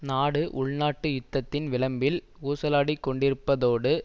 நாடு உள்நாட்டு யுத்தத்தின் விளம்பில் ஊசலாடிக்கொண்டிருப்பதோடு